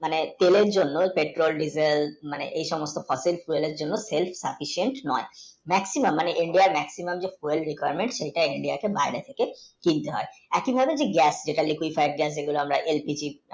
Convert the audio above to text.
তেল হল petrol, diesel মানে এই সমস্ত fossil fuel গুলো still sufficient নয় maximum মানে maximumIndia র যে oil requirement সেটা India র বাইরে থেকে fill হয় এত বড় যে gap এটা